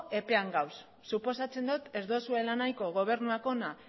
epean gaude suposatzen dut ez duzuela nahiko gobernuak hona